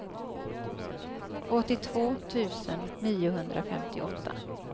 åttiotvå tusen niohundrafemtioåtta